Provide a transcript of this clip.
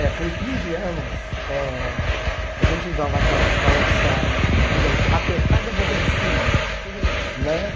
É, com quinze anos, eh a gente usava aquela calça, digamos, apertada boca de sino. Sei. Né?